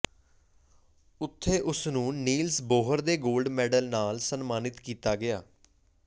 ਉੱਥੇ ਉਸ ਨੂੰ ਨੀਲਸ ਬੋਹਰ ਦੇ ਗੋਲਡ ਮੈਡਲ ਨਾਲ ਸਨਮਾਨਿਤ ਕੀਤਾ ਗਿਆ